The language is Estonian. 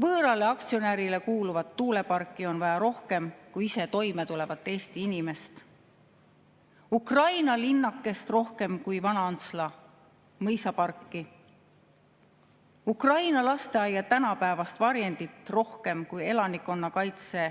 Võõrale aktsionärile kuuluvat tuuleparki on vaja rohkem kui ise toime tulevat Eesti inimest, Ukraina linnakest rohkem kui Vana-Antsla mõisaparki, Ukraina lasteaia tänapäevast varjendit rohkem kui elanikkonnakaitse